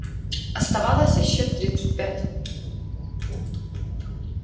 оставалось ещё тридцать пять